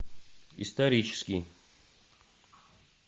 исторический